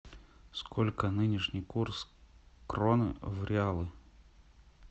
сколько нынешний курс кроны в реалы